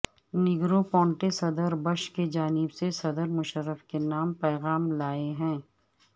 Negroponte صدر Bush کی جانب سے صدر مشرف کے نام پیغام لائے ہیں